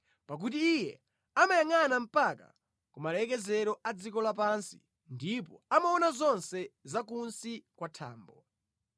pakuti Iye amayangʼana mpaka ku malekezero a dziko lapansi ndipo amaona zonse za kunsi kwa thambo.